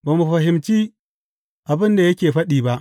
Ba mu fahimci abin da yake faɗi ba.